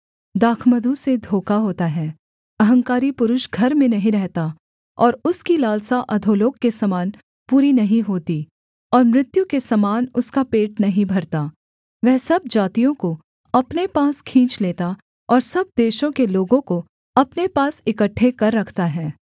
दाखमधु से धोखा होता है अहंकारी पुरुष घर में नहीं रहता और उसकी लालसा अधोलोक के समान पूरी नहीं होती और मृत्यु के समान उसका पेट नहीं भरता वह सब जातियों को अपने पास खींच लेता और सब देशों के लोगों को अपने पास इकट्ठे कर रखता है